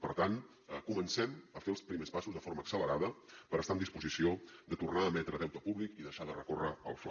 per tant comencem a fer els primers passos de forma accelerada per estar en disposició de tornar a emetre deute públic i deixar de recórrer al fla